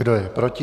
Kdo je proti?